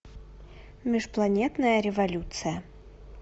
межпланетная революция